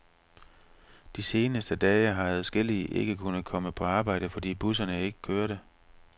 De seneste dage har adskillige ikke kunnet komme på arbejde, fordi bussen ikke kørte.